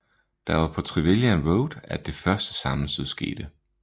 Det var på Trevilian Road at det første sammenstød skete